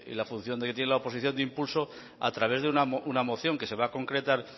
la función que tiene la oposición de impulso a través de una moción que se va a concretar